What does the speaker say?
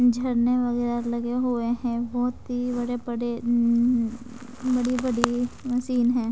झरने वगैरह लगे हुए है बहुत ती बड़े बड़े ऊं बड़ी बड़ी मशीन है।